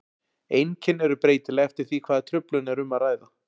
Einkenni eru breytileg eftir því hvaða truflun er um að ræða.